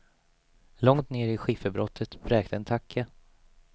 Långt nere i skifferbrottet bräkte en tacka.